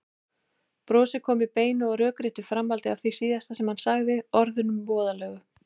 Brosið kom í beinu og rökréttu framhaldi af því síðasta sem hann sagði, orðunum voðalegu.